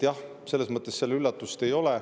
Selles mõttes üllatust ei ole.